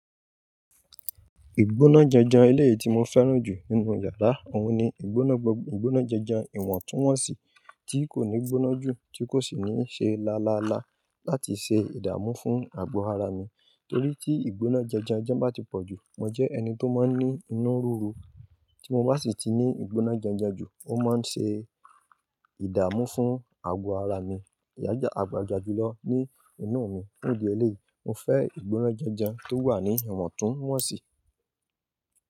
Ìgbónájẹjẹ eléyìí tí mo fẹ́ràn jù nínú yàrá wọn ni ìgbónájẹjẹ ìwọ̀ntúnwọ̀nsì tí kò ní gbóná jù tí kò sì ní ṣe lalàla láti ṣe ìdààmú fún àgbo ara mi. Torí tí ìgbónájẹjẹ jẹ́ bá ti pọ̀ jù, mo jẹ́ ẹni tó máa ń ní inú ruru, tí mo bá sì ti ní ìgbónájẹjẹ jù, ó máa ń ṣe ìdààmú fún àgbo ara mi, yàjà, àgbàjà jùlọ ní inú mi. Ní ìdí eléyìí, mo fẹ́ ìgbónájẹjẹ tó wà ní ìwọ̀ntúnwọ̀nsì.